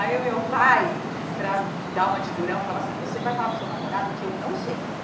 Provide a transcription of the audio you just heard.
Aí o meu pai, para dar uma de durão, falava assim, você vai falar para o seu namorado que eu não sei?